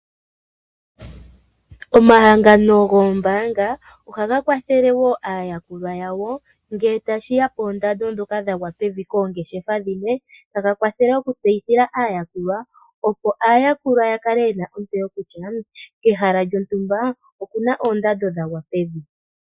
Omahangano goombaanga ohaga kwathele woo aayakulwa yawo ngee tashiya koondando dhoka dhagwa pevi koongeshefa dhimwe, taga kwathele woo okutseyithila aayakulwa opo aayakulwa yakale yena ontseyo kutya kehala lyotumba okuna oondando dhagwa pevi.